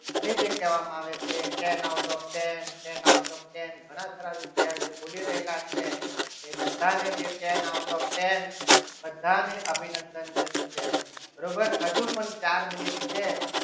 અને જે કહેવામાં આવે છે ten out of ten ten out of ten ઘણા બધા વિદ્યાર્થીઓ બોલી રહેલા છે એ બધાની ten out of ten બધાને અભિનંદન જે છે બરોબર હજુ પણ ચાર મિનિટ છે.